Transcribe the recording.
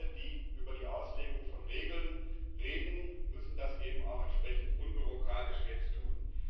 Alle, die über die Auslegung von Regeln reden, müssen das eben auch entsprechend unbürokratisch jetzt tun.